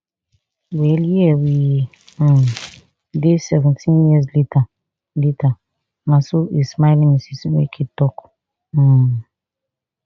well here we um dey seventeen years later later na so a smiling ms nweke tok um